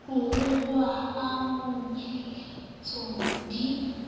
ho ruruha ha manonyeletso di